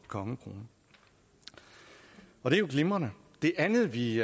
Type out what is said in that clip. kongekrone og det er jo glimrende det andet vi